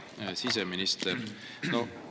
Hea siseminister!